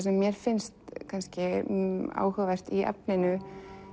sem mér finnst kannski áhugavert í efninu